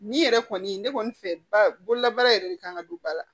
Nin yɛrɛ kɔni ne kɔni fɛ ba bololabaara yɛrɛ de kan ka don ba la